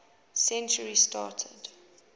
century started